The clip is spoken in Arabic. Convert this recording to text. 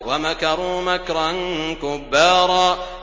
وَمَكَرُوا مَكْرًا كُبَّارًا